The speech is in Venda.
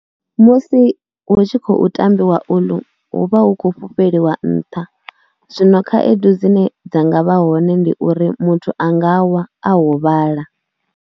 Musi hu tshi khou tambiwa uḽu hu vha hu khou fhufheliwa nṱha zwino khaedu dzine dza nga vha hone ndi uri muthu a nga wa a huvhala.